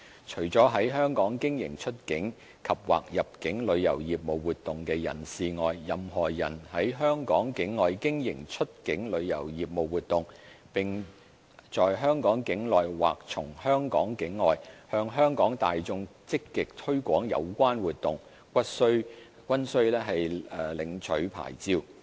除了在香港經營出境及/或入境旅遊業務活動的人士外，任何人在香港境外經營出境旅遊業務活動，並在香港境內或從香港境外，向香港大眾積極推廣有關活動，均須領取牌照。